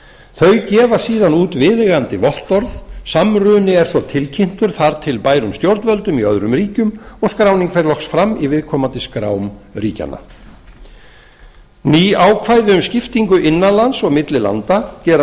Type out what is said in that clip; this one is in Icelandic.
þau gefa síðan út viðeigandi vottorð samruni er svo tilkynntur þar til bærum stjórnvöldum í öðrum ríkjum og skráning fer loks fram í viðkomandi skrám ríkjanna ný ákvæði um skiptingu innan lands og milli landa gera